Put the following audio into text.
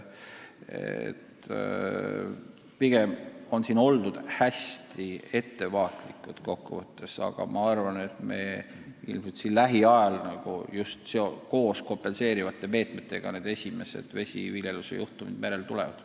Pigem on oldud hästi ettevaatlikud, aga ma arvan, et meil lähiajal just koos kompenseerivate meetmetega need esimesed vesiviljeluse üritamised merel tulevad.